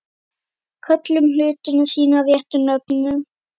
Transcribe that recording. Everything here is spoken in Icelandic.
Köllum hlutina sínum réttu nöfnum.